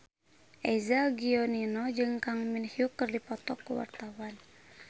Eza Gionino jeung Kang Min Hyuk keur dipoto ku wartawan